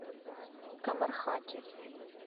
камархати